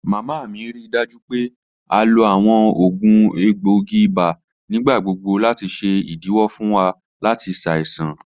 Mama mi rii daju pe a lo awọn oògùn egboogi ibà nigbagbogbo lati ṣe idiwọ fun wa lati ṣaisan.